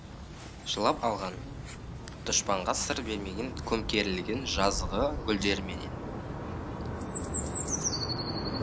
жылап алған дұшпанға сыр бермеген көмкерілген жазығы гүлдерменен